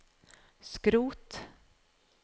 skrot